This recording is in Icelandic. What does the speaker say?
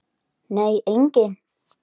Nei, enginn